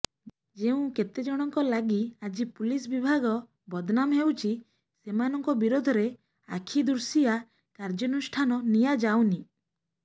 ଯେଉଁ କେତେଜଣଙ୍କ ଲାଗି ଆଜି ପୁଲିସ ବିଭାଗ ବଦନାମ ହେଉଛି ସେମାନଙ୍କ ବିରୋଧରେ ଆଖିଦୃଶୀୟା କାର୍ଯ୍ୟାନୁଷ୍ଠାନ ନିଆଯାଉନି